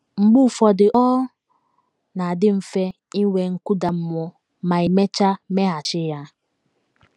Mgbe ụfọdụ, ọ na - adị mfe inwe nkụda mmụọ ma i mechaa meghachi ya.